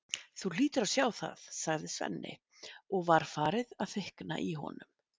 Þú hlýtur að sjá það, sagði Svenni og var farið að þykkna í honum.